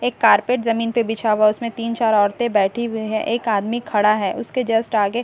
एक कारपेट जमीन पर बिछा हुआ है उसमें तीन-चार औरतें बैठी हुई है एक आदमी खड़ा है उसके जस्ट आगे--